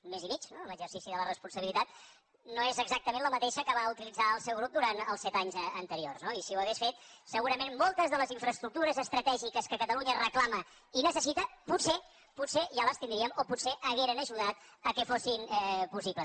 mes i mig no en l’exercici de la responsabilitat no és exactament la mateixa que va utilitzar el seu grup durant els set anys anteriors no moltes de les infraestructures estratègiques que catalunya reclama i necessita potser potser ja les tindríem o potser haurien ajudat que fossin possibles